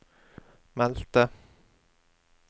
meldte